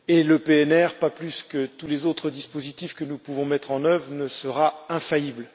Le PNR, pas plus que tous les autres dispositifs que nous pouvons mettre en œuvre, ne sera infaillible.